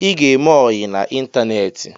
Ị ga-eme ọyi n'Ịntaneti